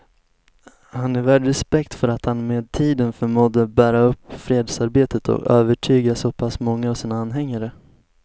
Han är värd respekt för att han med tiden förmådde bära upp fredsarbetet och övertyga så pass många av sina anhängare.